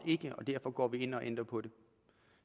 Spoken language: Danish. og derfor går vi ind og ændrer på det